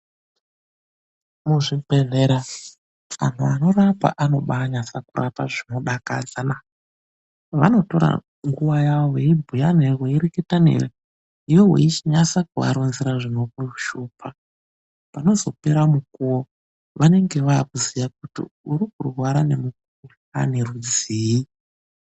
Muzvibhedhlera antu anorapa anobanatsorapa zvinodakadza naa. Vanobatora nguwa yawo veibhuya newe veireketa newe, iwewe weichinatsa kuvaronzera zvinokunesa panozopera mikuwo vanenge vava kuziva kuti ukurwara nemukuhlani rudzii.